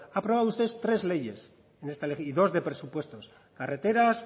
ha aprobado usted tres leyes y dos de presupuestos carreteras